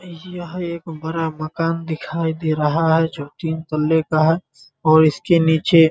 यह एक बड़ा मकान दिखाई दे रहा है जो तीन तल्ले का है और इसके नीचे --